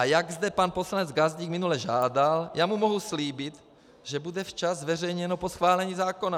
A jak zde pan poslanec Gazdík minule žádal, já mu mohu slíbit, že bude včas zveřejněno po schválení zákona.